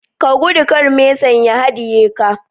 Ka gudu kar mesan ya hadiye ka